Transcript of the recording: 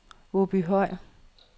Åbyhøj